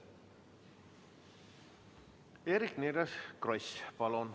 Eerik-Niiles Kross, palun!